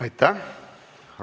Aitäh!